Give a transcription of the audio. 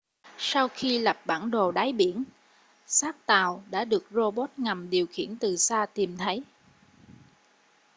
sau khi lập bản đồ đáy biển xác tàu đã được rô bốt ngầm điều khiển từ xa tìm thấy